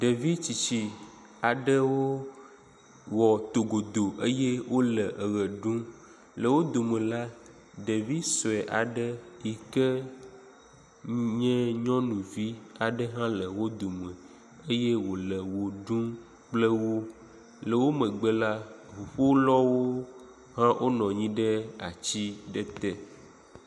Ɖevitsitsi aɖewo wɔ to godo eye wole eme ɖum, le wodome la, ɖevi suɛ aɖe yike nye nyɔnuvi aɖe hã le wo dome eye wole woɖu kple wo. Le wo megbe la, ʋuƒolawo hã wonɔ anyi ɖe atsi aɖe te.